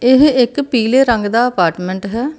ਇਹ ਇੱਕ ਪੀਲੇ ਰੰਗ ਦਾ ਅਪਾਰਟਮੈਂਟ ਹੈ।